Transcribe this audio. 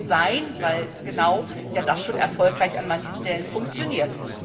Ich denke, das muss sein, weil genau das ja schon erfolgreich an manchen Stellen funktioniert.